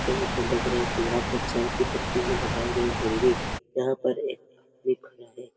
और मुझे लग रहा है कि यहाँ पर चाय की पत्ती भी लगाई गई होंगी यहाँ पर एक दिख रहा है ।